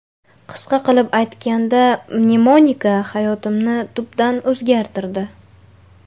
Qisqa qilib aytganda, mnemonika hayotimni tubdan o‘zgartirdi.